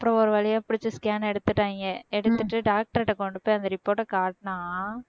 அப்புறம் ஒரு வழியா பிடிச்சு scan எடுத்துட்டாங்க எடுத்துட்டு doctor கிட்ட கொண்டு போய் அந்த report அ காட்டுனா